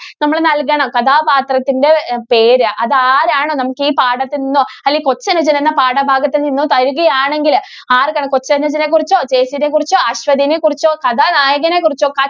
നമ്മള് നല്‍കണം. കഥാപാത്രത്തിൻറെ അഹ് പേര് അതാരാണ് നമുക്കീ പാഠത്തില്‍ നിന്നോ, അല്ലെങ്കില്‍ കൊച്ചനുജന്‍ എന്ന പാഠഭാഗത്തില്‍ നിന്നും തരുകയാണെങ്കില് ആർക്കറിയാം കൊച്ചനുജനെ കുറിച്ചോ, ചേച്ചീനെ കുറിച്ചോ, അശ്വതീനെ കുറിച്ചോ, കഥാനായകനെ കുറിച്ചോ